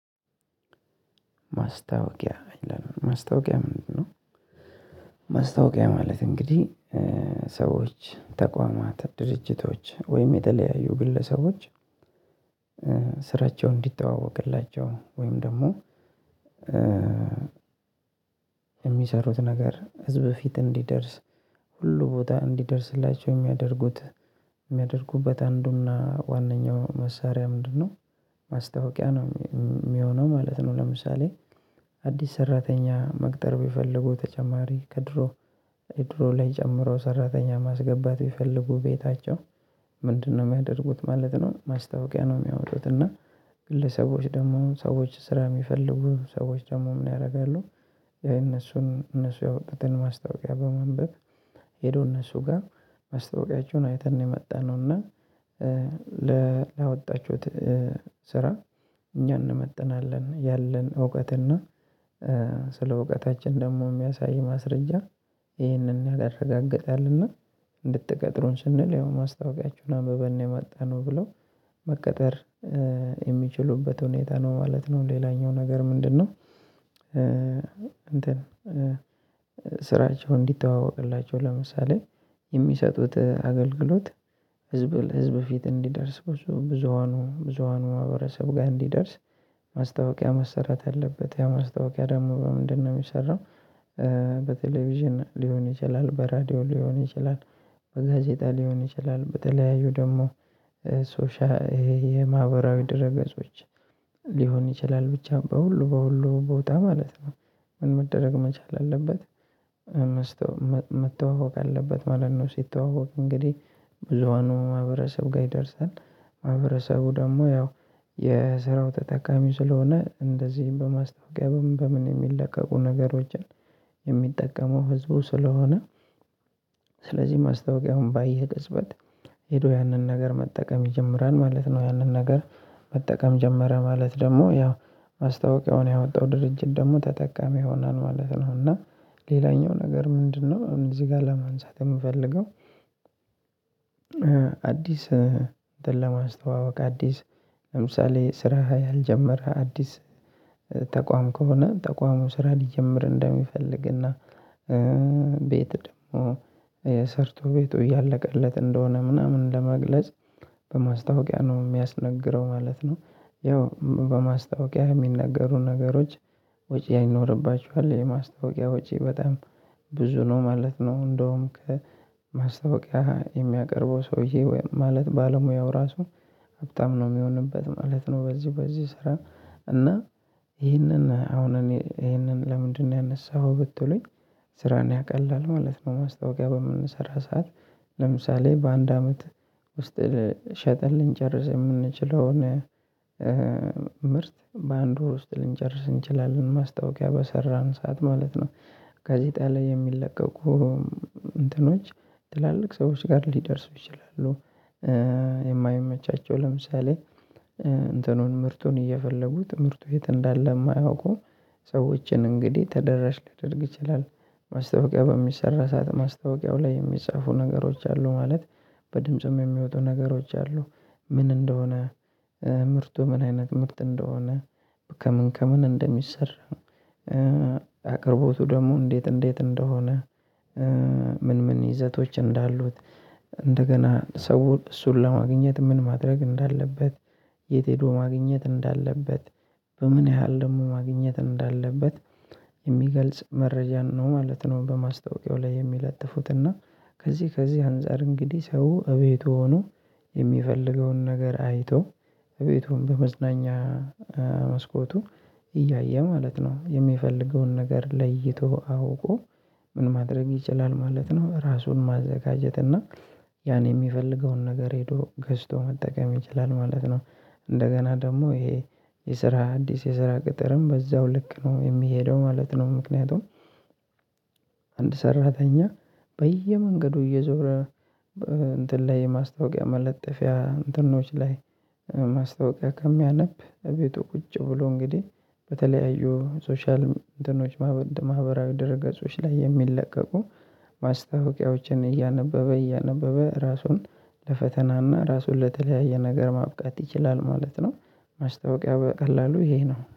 ማስታወቂያ ምንድነው? ማስታወቂያ ምንድነው? ማስታወቂያ ማለት እንግዲህ ሰዎች ተቋማት ድርጅቶች ወይም የተለያዩ ግለሰቦች ስራቸው እንዲተዋወቅላቸው ወይም ደግሞ የሚሰሩት ነገር ህዝብ ፊት እንዲደርስ ሁሉ ቦታ እንዲደርስላቸው የሚያደርጉት የሚያደርጉበት አንዱና ዋነኛው መሳሪያ ምንድነው ማስታወቂያ ነው የሚሆነው ማለት ነው። ለምሳሌ አዲስ ሰራተኛ መቅጠር ቢፈልጉ ተጨማሪ ከድሮ ድሮ ላይ ጨምረው ሰራተኛ ማስገባት ቢፈልጉ ቤታቸው ምንድነው የሚያደርጉት ማለት ነው ማስታወቂያ ነው የሚያወጡት። እና ግለሰቦች ደግሞ ሰዎች ስራ የሚፈልጉ ሰዎች ደግሞ ምን ያደርጋሉ? የእነሱን እነሱ ያወጡትን ማስታወቂያ በማንበብ ሄደው እነሱ ጋር ማስታወቂያችሁን አይተን ነው የመጣነው እና ላወጣችሁት ስራ እኛ እንመጥናለን ያለን እውቀትና ስለ እውቀታችን ደግሞ የሚያሳይ ማስረጃ ይህንን ያረጋግጣልና እንድትቀጥሩን ስንል ያው ማስታወቂያችሁን አንብበን ነው የመጣነው ብለው መቀጠር የሚችሉበት ሁኔታ ነው ማለት ነው። ሌላኛው ነገር ምንድነው? እንትን ስራቸው እንዲተዋወቅላቸው ለምሳሌ የሚሰጡት አገልግሎት ህዝብ ህዝብ ፊት እንዲደርስ ብዙ ብዙሃኑ ብዙሃኑ ማህበረሰብ ጋር እንዲደርስ ማስታወቂያ መሰራት አለበት። ያ ማስታወቂያ ደግሞ በምንድነው የሚሰራው? በቴሌቪዥን ሊሆን ይችላል በራዲዮ ሊሆን ይችላል በጋዜጣ ሊሆን ይችላል በተለያዩ ደግሞ ሶሻ የማህበራዊ ድህረገጾች ሊሆን ይችላል ብቻ በሁሉ በሁሉ ቦታ ማለት ነው። ምን መደረግ መቻል አለበት? መተዋወቅ አለበት ማለት ነው ሲተዋወቅ እንግዲህ ብዙሃኑ ማህበረሰብ ጋር ይደርሳል። ማህበረሰቡ ደግሞ ያው የስራው ተጠቃሚ ስለሆነ እንደዚህም በማስታወቂያ በምን በምን የሚለቀቁ ነገሮችን የሚጠቀመው ህዝቡ ስለሆነ ስለዚህ ማስታወቂያውን ባየ ቅጽበት ሄዶ ያንን ነገር መጠቀም ይጀምራል ማለት ነው። ያንን ነገር መጠቀም ጀመረ ማለት ደግሞ ያው ማስታወቂያውን ያወጣው ድርጅት ደግሞ ተጠቃሚ ይሆናል ማለት ነው። እና ሌላኛው ነገር ምንድነው እዚህ ጋር ለማንሳት የምፈልገው? አዲስ እንትን ለማስተዋወቅ አዲስ ለምሳሌ ስራ ያልጀመረ አዲስ ተቋም ከሆነ ተቋሙ ስራ ሊጀምር እንደሚፈልግና ቤት ደግሞ ሰርቶ ቤቱ እያለቀለት እንደሆነ ምናምን ለመግለጽ በማስታወቂያ ነው የሚያስነግረው ማለት ነው። ያው በማስታወቂያ የሚነገሩ ነገሮች ወጪ ይኖርባቸዋል የማስታወቂያ ወጪ በጣም ብዙ ነው ማለት ነው። እንደውም ማስታወቂያ የሚያቀርበው ሰውዬ ማለት ባለሙያው ራሱ በጣም ነው የሚሆንበት ማለት ነው። በዚህ በዚህ ስራ እና ይህንን አሁን እኔ ይህንን ለምንድነው ያነሳኸው ብትሉኝ? ስራን ያቀላል ማለት ነው። ማስታወቂያ በምንሰራ ሰዓት ለምሳሌ በአንድ አመት ውስጥ ሸጠን ልንጨርስ የምንችለውን ምርት በአንድ ወር ውስጥ ልንጨርስ እንችላለን ማስታወቂያ በሰራን ሰዓት ማለት ነው። ጋዜጣ ላይ የሚለቀቁ እንትኖች ትላልቅ ሰዎች ጋር ሊደርሱ ይችላሉ። የማይመቻቸው ለምሳሌ እንትኑን ምርቱን እየፈለጉ ትምህርቱ የት እንዳለ የማያውቁ ሰዎችን እንግዲህ ተደራሽ ሊደርግ ይችላል። ማስታወቂያ በሚሰራ ሰዓት ማስታወቂያው ላይ የሚጻፉ ነገሮች አሉ ማለት። በድምጽም የሚወጡ ነገሮች አሉ። ምን እንደሆነ ምርቱ ምን አይነት ምርት እንደሆነ ከምን ከምን እንደሚሰራ አቅርቦቱ ደግሞ እንዴት እንዴት እንደሆነ ምን ምን ይዘቶች እንዳሉት እንደገና ሰው እሱን ለማግኘት ምን ማድረግ እንዳለበት የት ሄዶ ማግኘት እንዳለበት በምን ያህል ደግሞ ማግኘት እንዳለበት የሚገልጽ መረጃን ነው ማለት ነው። በማስታወቂያው ላይ የሚለጥፉት እና ከዚህ ከዚህ አንፃር እንግዲህ ሰው እቤቱ ሆኖ የሚፈልገውን ነገር አይቶ እቤቱ በመዝናኛ መስኮቱ እያየ ማለት ነው። የሚፈልገውን ነገር ለይቶ አውቆ ምን ማድረግ ይችላል ማለት ነው። ራሱን ማዘጋጀት እና ያን የሚፈልገውን ነገር ሄዶ ገዝቶ መጠቀም ይችላል ማለት ነው። እንደገና ደግሞ ይሄ የስራ አዲስ የስራ ቅጥርም በዛው ልክ ነው የሚሄደው ማለት ነው። ምክንያቱም አንድ ሰራተኛ በየመንገዱ እየዞረ እንትን ላይ ማስታወቂያ መለጠፊያ እንትኖች ላይ ማስታወቂያ ከሚያነብ እቤቱ ቁጭ ብሎ እንግዲህ በተለያዩ ሶሻል እንትኖች ማህበራዊ ድህረገጾች ላይ የሚለቀቁ ማስታወቂያዎችን እያነበበ እያነበበ ራሱን ለፈተናና ራሱን ለተለያየ ነገር ማብቃት ይችላል ማለት ነው። ማስታወቂያ በቀላሉ ይሄ ነው